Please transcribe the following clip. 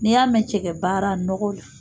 N'i y'a mɛn cɛgɛ baara nɔgɔ la